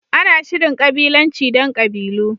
Ana Shirin kabilanci don kabilu.